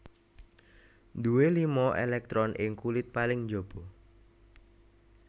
Duwé lima èlèktron ing kulit paling njaba